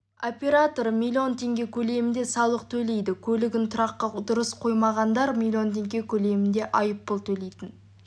операторы миллион теңге көлемінде салық төлейді көлігін тұраққа дұрыс қоймағандар миллион теңге көлемінде айыппұл төлейтін